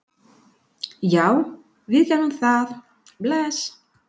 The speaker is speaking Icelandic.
Já, við gerum það. Bless.